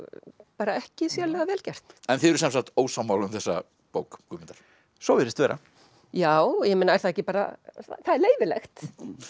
bara ekki sérlega vel gert þið eruð sem sagt ósammála um þessa bók Guðmundar svo virðist vera já er það ekki bara það er leyfilegt